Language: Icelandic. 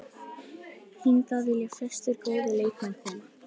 Hingað vilja flestir góðir leikmenn koma.